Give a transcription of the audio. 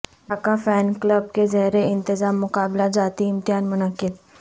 Dhaka fan club کے زیرانتظام مقابلہ جاتی امتحان منعقد